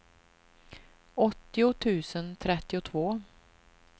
åttio tusen trettiotvå